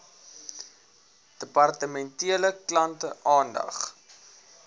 departementele klante aandag